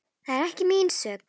Það er ekki mín sök.